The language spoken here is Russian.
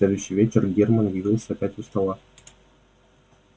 в следующий вечер германн явился опять у стола